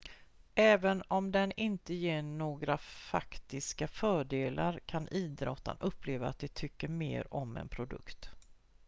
även om den inte ger några faktiska fördelar kan idrottare uppleva att de tycker mer om en produkt